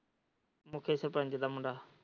ਉੱਥੇ ਸਰਪੰਚ ਦਾ ਮੁੰਡਾ।